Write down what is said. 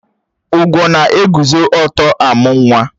Ugwo na-eguzo ọ̀tọ́ amú nwa